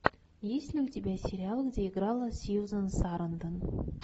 есть ли у тебя сериал где играла сьюзан сарандон